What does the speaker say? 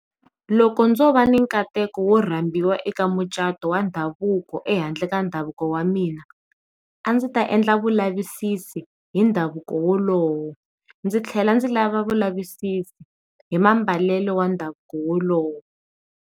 Loko ndzo va ni nkateko wo rambiwa eka mucato wa ndhavuko ehandle ka ndhavuko wa mina, a ndzi ta endla vulavisisi hi ndhavuko wolowo ndzi tlhela ndzi lava vulavisisi hi mambalelo wa ndhavuko wolowo.